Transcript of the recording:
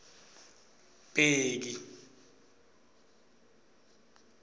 bheki